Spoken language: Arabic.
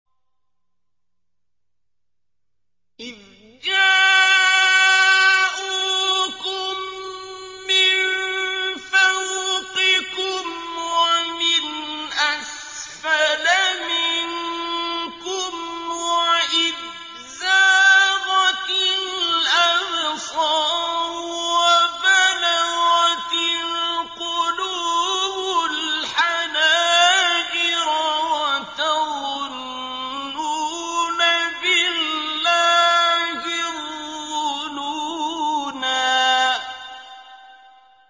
إِذْ جَاءُوكُم مِّن فَوْقِكُمْ وَمِنْ أَسْفَلَ مِنكُمْ وَإِذْ زَاغَتِ الْأَبْصَارُ وَبَلَغَتِ الْقُلُوبُ الْحَنَاجِرَ وَتَظُنُّونَ بِاللَّهِ الظُّنُونَا